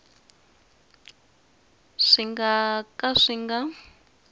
swi nga ka swi nga